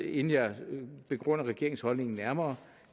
inden jeg begrunder regeringens holdning nærmere